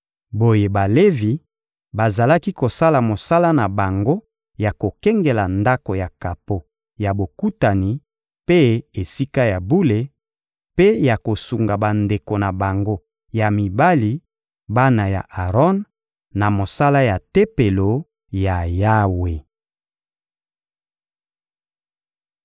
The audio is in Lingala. Boye Balevi bazalaki kosala mosala na bango ya kokengela Ndako ya kapo ya Bokutani mpe Esika ya bule, mpe ya kosunga bandeko na bango ya mibali, bana ya Aron, na mosala ya Tempelo ya Yawe.